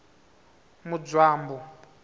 mudzwambu